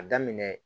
A daminɛ